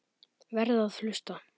Verð að hlusta.